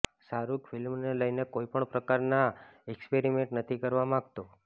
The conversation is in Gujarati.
શાહરુખ ફિલ્મને લઈને કોઈ પણ પ્રકારનાં એક્સપેરિમેન્ટ નથી કરવા માગતો